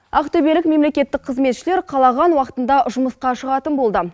ақтөбелік мемлекеттік қызметшілер қалаған уақытында жұмысқа шығатын болды